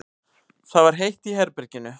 Það var heitt í herberginu.